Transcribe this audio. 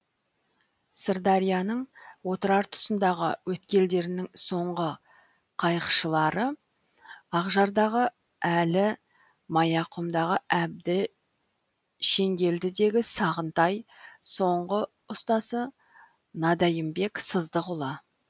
сырдарияның отырар тұсындағы өткелдерінің соңғы қайықшылары ақжардағы әлі маяқұмдағы әбді шеңгелдідегі сағынтай соңғы ұстасы надайымбек сыздықұлы